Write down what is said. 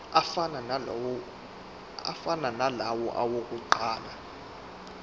afana nalawo awokuqala